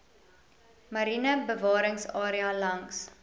mariene bewaringsarea langs